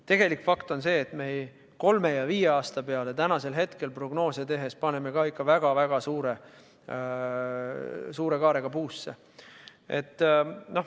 Tegelik fakt on see, et ka kolme ja viie aasta peale täna prognoose tehes paneme ikka väga suure kaarega puusse.